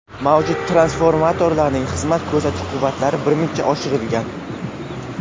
Mavjud transformatorlarning xizmat ko‘rsatish quvvatlari birmuncha oshirilgan.